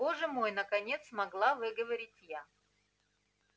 боже мой наконец смогла выговорить я